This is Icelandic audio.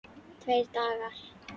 Tveir dagar!